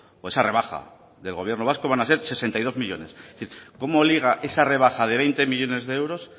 o esa rebaja del gobierno vasco van a ser sesenta y dos millónes es decir cómo liga esa rebaja de veinte millónes de euros